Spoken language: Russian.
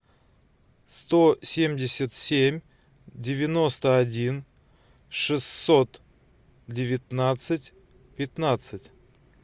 сто семьдесят семь девяносто один шестьсот девятнадцать пятнадцать